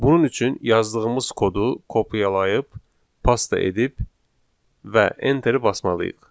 Bunun üçün yazdığımız kodu kopyalayıb pasta edib və enteri basmalıyıq.